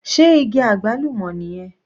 Sé igi àgbálùmọ́ nìyẹn?